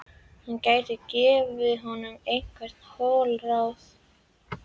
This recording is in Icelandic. Hann gæti gefið honum einhver holl ráð.